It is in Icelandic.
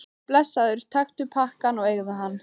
Blessaður, taktu pakkann og eigðu hann.